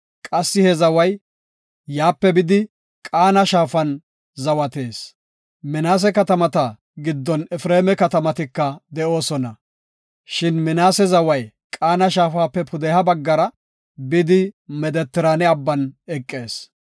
Qassi he zaway yaape bidi, Qaana shaafan zawatees. Minaase katamata giddon Efreema katamatika de7oosona. Shin Minaase zaway Qaana shaafape pudeha baggara bidi Medetiraane abban eqees.